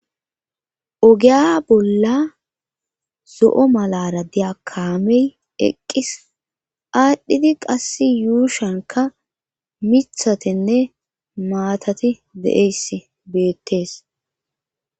ogeya bolla zo'o malara diya kamey eqqis aadhdhidi qass yuushanka mithatenne maatati de'eyss beettees